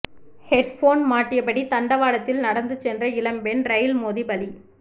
headphone மாட்டியபடி தண்டவாளத்தில் நடந்து சென்ற இளம்பெண் ரெயில் மோதி பலி